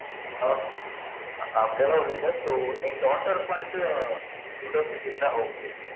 ஆஹ் அப்டிலாம் ஒன்னும் இல்ல so என் daughter க்கு வந்து window seat இருந்தா okay